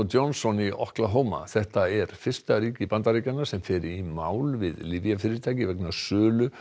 Johnson í Oklahoma þetta er fyrsta ríki Bandaríkjanna sem fer í mál við lyfjafyrirtæki vegna sölu